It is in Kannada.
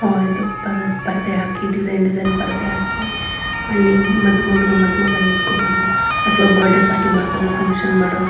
ಆಹ್ಹ್ ಇದು ಪರದೆ ಹಾಕಿ ಡಿಸೈನ್ ಡಿಸೈನ್ ಪರದೆ ಹಾಕಿ ಅಲ್ಲಿ ಮದುಮಗಳು ಮದುಮಗ ನಿತ್ಕೋಬಹುದು ಅಥವಾ ಬರ್ತ್ ಡೇ ಪಾರ್ಟಿ ಮಾಡಬಹುದು ಅತ್ವ ಫಂಕ್ಷನ್ ಮಾಡೋ--